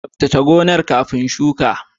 Tsaftace gonar kafin shuka.